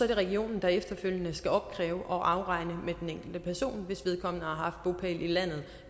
det regionen der efterfølgende skal opkræve og afregne med den enkelte person hvis vedkommende har haft bopæl i landet i